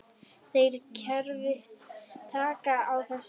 Þeirra kerfi taki á þessu.